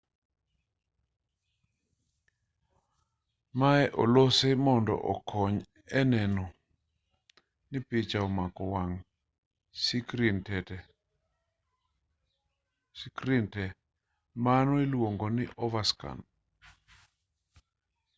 maye olosi mondo okony e neno ni picha omako wang' sikrin tee mano iluongo ni overscan